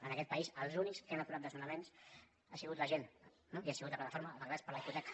en aquest país els únics que han aturat des nonaments ha sigut la gent i ha sigut la plataforma d’afectats per la hipoteca